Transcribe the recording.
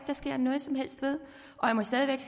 der sker noget som helst ved og jeg må stadig